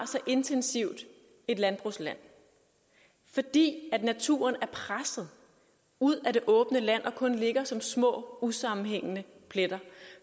så intensivt et landbrugsland fordi naturen er presset ud af det åbne land og kun ligger som små usammenhængende pletter